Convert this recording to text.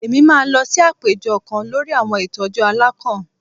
Èmí máa lọ sí àpéjọ kán lórí àwọn ìtọjú àlakán